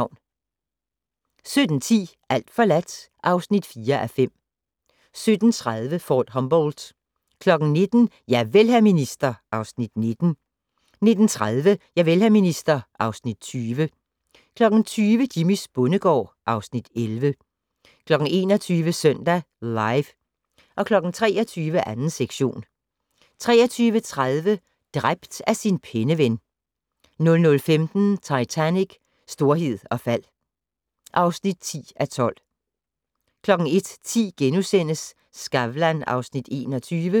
17:10: Alt forladt (4:5) 17:30: Fort Humboldt 19:00: Javel, hr. minister (Afs. 19) 19:30: Javel, hr. minister (Afs. 20) 20:00: Jimmys bondegård (Afs. 11) 21:00: Søndag Live 23:00: 2. sektion 23:30: Dræbt af sin penneven 00:15: Titanic: Storhed og fald (10:12) 01:10: Skavlan (Afs. 21)*